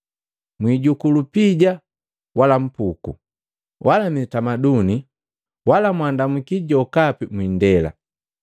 Mwijuku lupija wala mpuku, wala mitamaduni, wala mwandamuki jokapi mwindela.